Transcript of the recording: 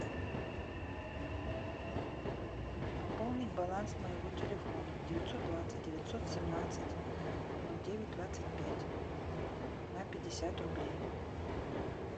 пополнить баланс моего телефона девятьсот двадцать девятьсот семнадцать ноль девять двадцать пять на пятьдесят рублей